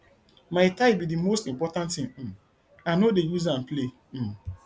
my tithe be the most important thing um i no dey use am play um